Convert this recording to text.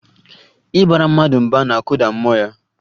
Ịbara mmadụ mba na-akụda mmụọ ya